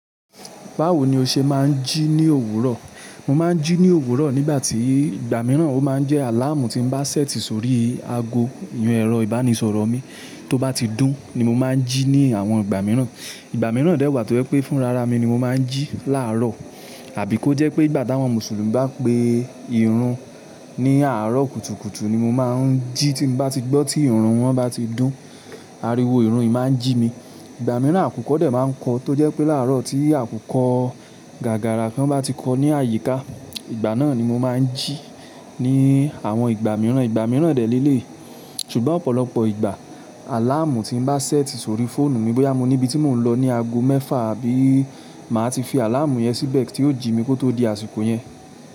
Bawo ni o se maa n ji ni òwúrò? Mo máa ń jí ní òwúrọ̀ nígbà tí ìgbà mìíràn ó máa ń jẹ́ àláàmù tí mo bá ṣẹ́ẹ̀tì sórí ago ìyen ẹ̀rọ ìbánisọ̀rọ̀ mi. Tó bá ti dún ni mo máa ń jí ní àwọn ìgbà mìíràn. Ìgbà mìíràn dẹ̀ wà tó jẹ́ pé fún rara mi ni mo máa ń jí láàárọ̀. Àbí kó jẹ́ pé ìgbà t'áwọn Mùsùlùmí bá pe ìrun ní àárọ̀ kùtùkùtù ni mo máa ń jí tí mo bá ti gbọ́ tí ìrun wọn bá ti dún, ariwo ìrun yìí máa ń jí mi. Ìgbà mìíràn àkùkọ́ dẹ̀ máa ń kọ tó jẹ́ pé láàárọ̀ tí àkùkọ́ gàgàrá kan bá ti kọ ní àyíká, ìgbà náà ni mo máa ń jí ní àwọn ìgbà mìíràn. Ìgbà mìíràn dẹ̀ léèlé, ṣùgbọ́n ọ̀pọ̀lọpọ̀ ìgbà, àláàmù tí mo bá ṣẹ́ẹ̀tì sórí fóònù mi bóyá mo ní ibi tí mò ń lọ ní ago mẹ́fà àbí màá ti fi àláàmù yẹn síbẹ̀ kí ó jí mi kó tó di àsìkò yẹn.